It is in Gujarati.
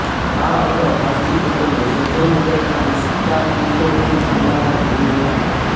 આ અગાઉ હાર્દિક પટેલે સંજયનગરના વિસ્થાપિતોની મુલાકાત લીધી હતી